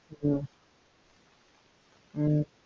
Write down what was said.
ஹம் ஹம்